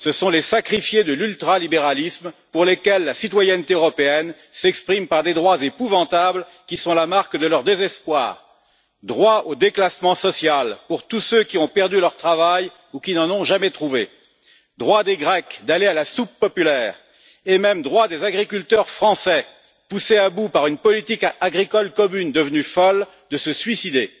Ce sont les sacrifiés de l'ultralibéralisme, pour lesquels la citoyenneté européenne s'exprime par des droits épouvantables, qui sont la marque de leur désespoir droit au déclassement social pour tous ceux qui ont perdu leur travail ou qui n'en ont jamais trouvé, droit des Grecs d'aller à la soupe populaire et même droit des agriculteurs français, poussés à bout par une politique agricole commune devenue folle, de se suicider.